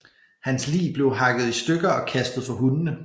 Hans lig blev hakket i stykker og kastet for hundene